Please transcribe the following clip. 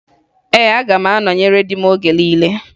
Ee, aga m anọnyere di m oge niile